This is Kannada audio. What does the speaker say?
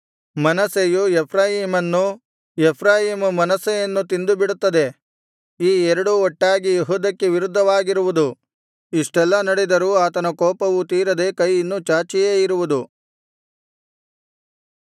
ಮನಸ್ಸೆಯು ಎಫ್ರಾಯೀಮನ್ನು ಎಫ್ರಾಯೀಮ ಮನಸ್ಸೆಯನ್ನು ತಿಂದುಬಿಡುತ್ತದೆ ಈ ಎರಡೂ ಒಟ್ಟಾಗಿ ಯೆಹೂದಕ್ಕೆ ವಿರುದ್ಧವಾಗಿರುವುದು ಇಷ್ಟೆಲ್ಲಾ ನಡೆದರೂ ಆತನ ಕೋಪವು ತೀರದೆ ಕೈ ಇನ್ನು ಚಾಚಿಯೇ ಇರುವುದು